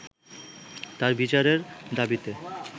তার বিচারের দাবিতে